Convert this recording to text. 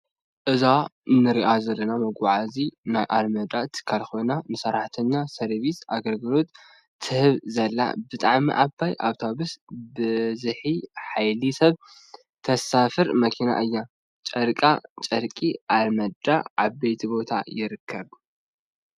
አዛ እንሪአ ዘለና መጓዓዝያ ናይ አልመዳ ትካል ኮይና ንሰራተኛ ሰርቢስ አገልግሎት ትህብ ዘላ ብጣዕሚ ዓባይ አውቶብሰ ብዝሒ ሓይሊ ሰብ ተሳፍር መኪና እያ ።ጨርቃ ጨርቂ አልመዳ አበይ ቦታ ይርከብ?